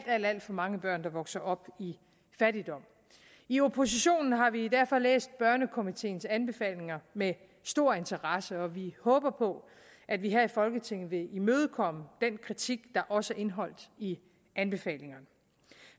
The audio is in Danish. alt alt for mange børn der vokser op i fattigdom i oppositionen har vi derfor læst børnekomiteens anbefalinger med stor interesse og vi håber på at vi her i folketinget vil imødekomme den kritik der også er indeholdt i anbefalingerne